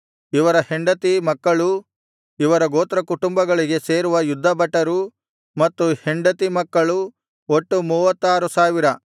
ಇವರ ಹೆಂಡತಿ ಮಕ್ಕಳೂ ಇವರ ಗೋತ್ರ ಕುಟುಂಬಗಳಿಗೆ ಸೇರುವ ಯುದ್ಧಭಟರು ಮತ್ತು ಹೆಂಡತಿ ಮಕ್ಕಳು ಒಟ್ಟು ಮೂವತ್ತಾರು ಸಾವಿರ